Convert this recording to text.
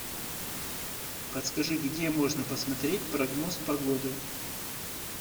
подскажи где можно посмотреть прогноз погоды